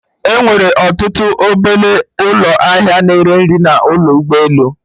E nwere ọtụtụ obele ụlọ ahịa na ere nri n'ime ụlọ ụgbọ elu